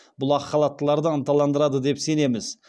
бұл ақ халаттыларды ынталандырады деп сенеміз